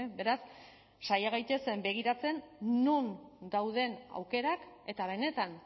beraz saia gaitezen begiratzen non dauden aukerak eta benetan